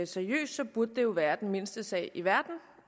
seriøst burde det jo være den mindste sag i verden